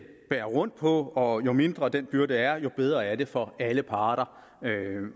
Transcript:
bærer rundt på og jo mindre den byrde er jo bedre er det for alle parter